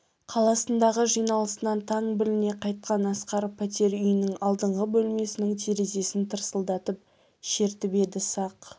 қаласындағы жиналысынан таң біліне қайтқан асқар пәтер үйінің алдыңғы бөлмесінің терезесін тырсылдатып шертіп еді сақ